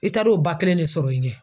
I taar'o ba kelen de sɔrɔ i ɲɛ.